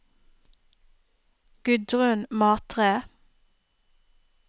Gudrun Matre